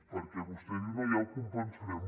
perquè vostè diu no ja ho compensarem